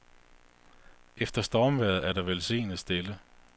Efter stormvejret er der velsignet stille.